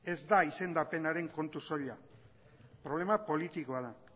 ez da izendapenaren kontu soila problema politikoa da